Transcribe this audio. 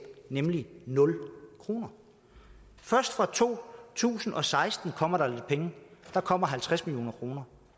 nemlig nul kroner først fra to tusind og seksten kommer der lidt penge der kommer halvtreds million kroner